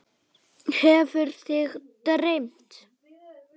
Hefur þig dreymt?